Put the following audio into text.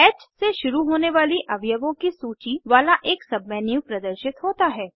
ह से शुरू होने वाली अवयवों की सूची वाला एक सबमेन्यू प्रदर्शित होता है